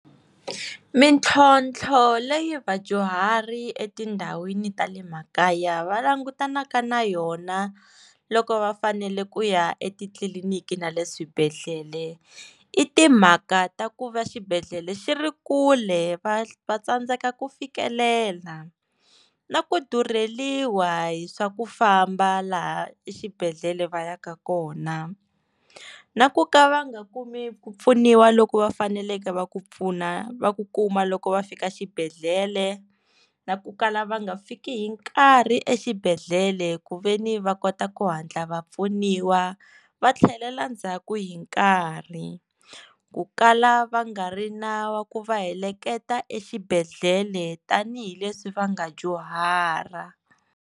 Mitlhontlho leyi vadyuhari etindhawini ta le makaya va langutanaka na yona loko va fanele ku ya etitliliniki na le swibedhlele i timhaka ta ku va xibedhlele xi ri kule va va tsandzeka ku fikelela na ku durheliwa hi swa ku famba laha exibedhlele va ya ka kona na ku ka va nga kumi ku pfuniwa loku va faneleke va ku pfuna va ku kuma loko va fika xibedhlele na ku kala va nga fiki hi nkarhi exibedhlele ku ve ni va kota ku hatla va pfuniwa va tlhelela ndzhaku hi nkarhi ku kala va nga ri na wa ku va heleketa exibedhlele tanihileswi va nga dyuhara.